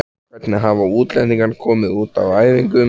Hvernig hafa útlendingarnir komið út á æfingum?